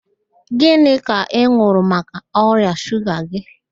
Gịnị ka ị n̄ụrụ maka ọrịa shuga gị